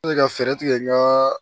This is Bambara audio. Ne ka fɛɛrɛ tigɛ n ga